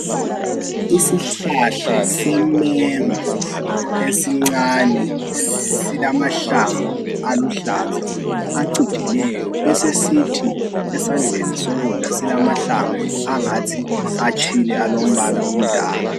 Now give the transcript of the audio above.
Isihlahla semengo esincane, silamahlamvu aluhlaza, acijileyo. Besesisithi esandleni sokudla silamahlamvu angathi atshile. Alombala omdaka..